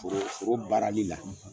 foro barali la, .